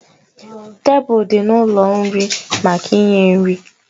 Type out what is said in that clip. Tebụl dị n'ụlọ nri maka inye nri